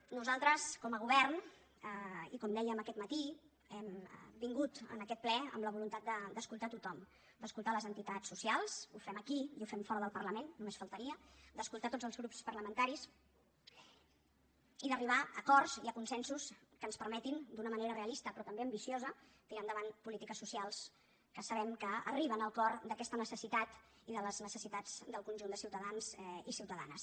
nosaltres com a govern i com dèiem aquest matí hem vingut a aquest ple amb la voluntat d’escoltar tothom d’escoltar les entitats socials ho fem aquí i ho fem fora del parlament només faltaria d’escoltar tots els grups parlamentaris i d’arribar a acords i a consensos que ens permetin d’una manera realista però també ambiciosa tirar endavant polítiques socials que sabem que arriben al cor d’aquesta necessitat i de les necessitats del conjunt de ciutadans i ciutadanes